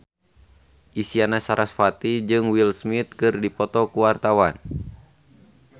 Isyana Sarasvati jeung Will Smith keur dipoto ku wartawan